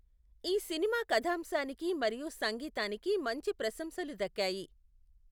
ఈ సినిమా కథాంశానికి మరియు సంగీతానికి మంచి ప్రశంసలు దక్కాయి.